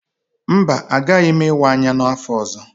Mba, agaghị m ịwa anya n'afọ ọzọ.